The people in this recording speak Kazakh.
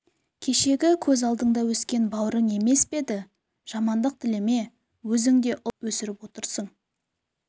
кешегі көз алдыңда өскен бауырың емес пе еді жамандық тілеме өзің де ұл-қыз өсіріп отырсың